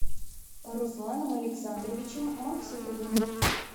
русланом александровичем максютовым